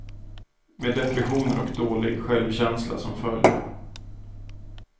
Med depressioner och dålig självkänsla som följd.